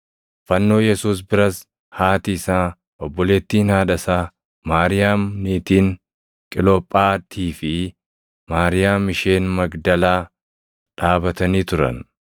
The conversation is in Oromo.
Fannoo Yesuus biras haati isaa, obboleettiin haadha isaa, Maariyaam niitiin Qilophaatii fi Maariyaam isheen Magdalaa dhaabatanii turan.